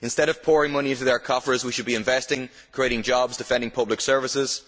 Instead of pouring money into their coffers, we should be investing, creating jobs, defending public services.